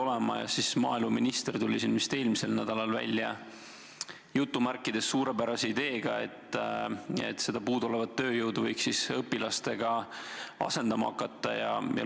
Seepeale tuli maaeluminister vist eelmisel nädalal välja "suurepärase" ideega, et puuduolevat tööjõudu võiks asendama hakata õpilastega.